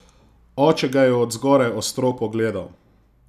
Oče ga je od zgoraj ostro pogledal.